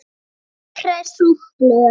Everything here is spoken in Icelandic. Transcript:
Alltaf hress og glöð.